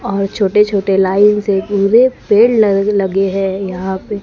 और छोटे छोटे लाइन से पूरे पेड़ लगे लगे हैं यहां पे--